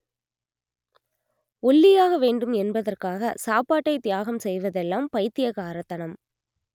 ஒல்லியாக வேண்டும் என்பதற்காக சாப்பாட்டை தியாகம் செய்வதெல்லாம் பைத்தியக்காரத்தனம்